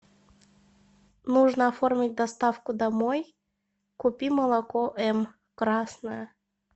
нужно оформить доставку домой купи молоко м красное